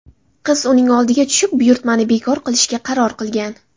Qiz uning oldiga tushib buyurtmani bekor qilishga qaror qilgan.